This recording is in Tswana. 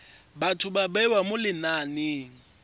batho ba bewa mo lenaneng